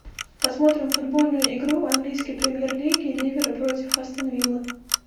посмотрим футбольную игру английской премьер лиги ливера против астон виллы